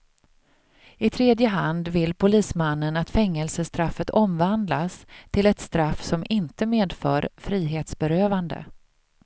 I tredje hand vill polismannen att fängelsestraffet omvandlas till ett straff som inte medför frihetsberövande.